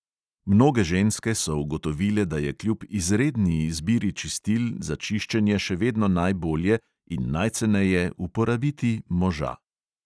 Mnoge ženske so ugotovile, da je kljub izredni izbiri čistil za čiščenje še vedno najbolje in najceneje uporabiti moža.